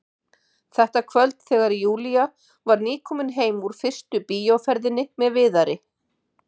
Þetta kvöld þegar Júlía var nýkomin heim úr fyrstu bíóferðinni með Viðari.